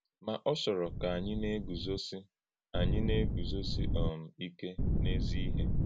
Ma ọ́ chọ́rọ̀ ka ànyí na-egúzósí ànyí na-egúzósí um ìké n’ezi íhè.